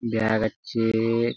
Bag আচ্ছে ।